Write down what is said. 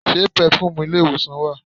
Ṣe pẹ̀fùmì ilé ìwòsàn wà?